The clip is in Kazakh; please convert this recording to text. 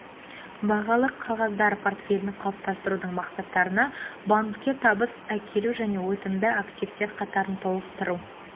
бағалы қағаздар портфелін қалыптастырудың мақсаттарына банкке табыс әкелу және өтімді активтер қатарын толықтыру